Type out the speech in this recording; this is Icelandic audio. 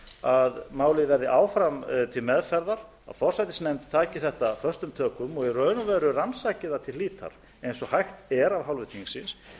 að málið verði áfram til meðferðar að forsætisnefnd taki þetta föstum tökum og í raun og veru rannsaki það til hlítar eins og hægt er af hálfu þingsins